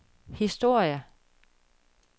historie